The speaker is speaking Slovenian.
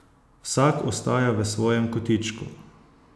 Vsaka ostaja v svojem kotičku.